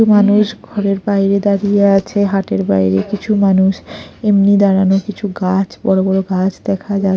মানুষ ঘরের বাইরে দাঁড়িয়ে আছে হাটের বাইরে কিছু মানুষ এমনি দাঁড়ানো কিছু গাছ বড় বড় কিছু গাছ দেখা যায়।